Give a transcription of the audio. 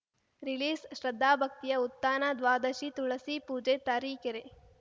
ರಿಲೀಸ್‌ಶ್ರದ್ಧಾಭಕ್ತಿಯ ಉತ್ಥಾನ ದ್ವಾದಶಿ ತುಳಸಿ ಪೂಜೆ ತರೀಕೆರೆ